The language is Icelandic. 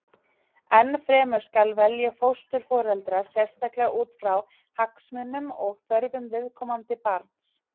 enn fremur skal velja fósturforeldra sérstaklega út frá hagsmunum og þörfum viðkomandi barns